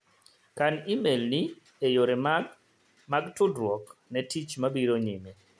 Kan imel ni e yore mag mag tudruok ne tich mabiro nyime.